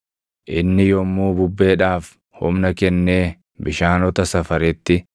Inni yommuu bubbeedhaaf humna kennee bishaanota safaretti,